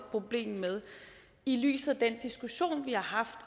problem med i lyset af den diskussion vi har haft